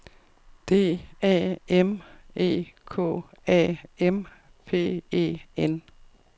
D A M E K A M P E N